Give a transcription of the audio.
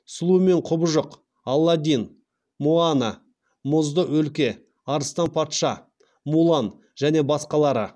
сұлу мен құбыжық аладдин моана мұзды өлке арыстан патша мулан және басқалары